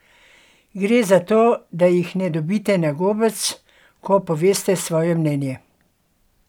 Gre za to, da jih ne dobite na gobec, ko poveste svoje mnenje.